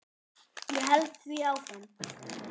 Ég held því áfram.